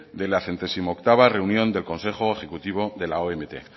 de la centésimo octava reunión del consejo ejecutivo de la omt